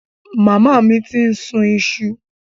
Màmá mi ti ń sun iṣu.